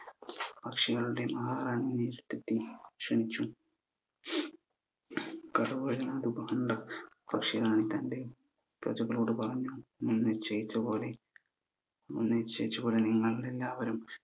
പക്ഷികളുടെ ൽ പക്ഷി റാണി തന്റെ പ്രജകളോട് പറഞ്ഞു നിശയിച്ചപോലെ നിശ്ചയിച്ചപോലെ നിങ്ങൾ എല്ലാവരും